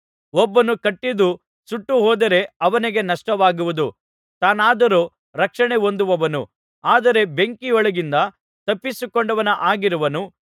ಒಬ್ಬನು ಕಟ್ಟಿದ್ದು ಸುಟ್ಟು ಹೋದರೆ ಅವನಿಗೆ ನಷ್ಟವಾಗುವುದು ತಾನಾದರೋ ರಕ್ಷಣೆ ಹೊಂದುವನು ಆದರೆ ಬೆಂಕಿಯೊಳಗಿಂದ ತಪ್ಪಿಸಿಕೊಂಡವನ ಹಾಗಿರುವನು